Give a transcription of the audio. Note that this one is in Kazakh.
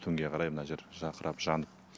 түнге қарай мына жер жарқырап жанып